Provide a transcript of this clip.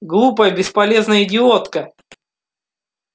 глупая бесполезная идиотка